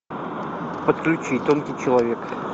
подключи тонкий человек